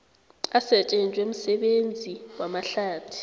asetjenzwe msebenzi wamahlathi